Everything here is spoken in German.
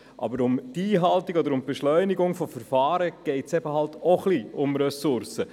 Aber bei der Einhaltung oder bei der Beschleunigung von Verfahren geht es halt auch ein bisschen um Ressourcen.